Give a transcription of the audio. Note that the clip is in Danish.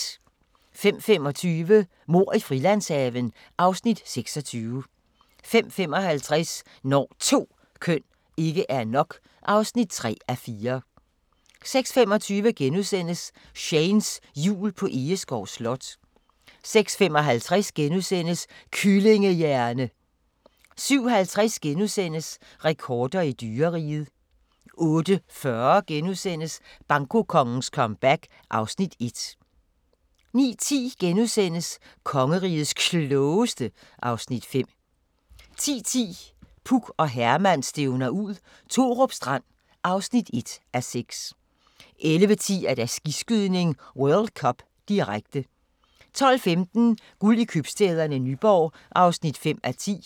05:25: Mord i Frilandshaven (Afs. 26) 05:55: Når 2 køn ikke er nok (3:4) 06:25: Shanes Jul på Egeskov Slot * 06:55: Kyllingehjerne! * 07:50: Rekorder i dyreriget * 08:40: Bankokongens comeback (Afs. 1)* 09:10: Kongerigets Klogeste (Afs. 5)* 10:10: Puk og Herman stævner ud – Thorup Strand (1:6) 11:10: Skiskydning: World Cup, direkte 12:15: Guld i købstæderne - Nyborg (5:10)